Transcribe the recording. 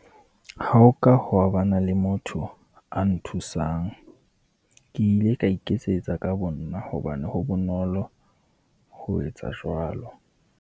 Ha ho ka hwa ba na le motho a nthusang. Ke ile ka iketsetsa ka bo nna, hobane ho bonolo ho etsa jwalo.